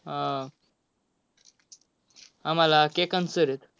आह आम्हाला केळकांत sir आहेत.